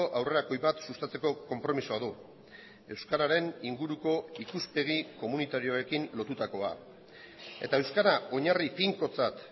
aurrerakoi bat sustatzeko konpromisoa du euskararen inguruko ikuspegi komunitarioekin lotutakoa eta euskara oinarri finkotzat